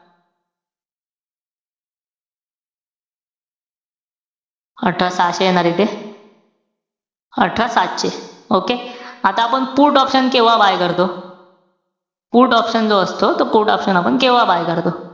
अठरा सहाशे येणार इथे. अठरा सातशे. Okay? आता आपण put option केव्हा buy करतो? put option जो असतो तो put option आपण केव्हा buy करत असतो?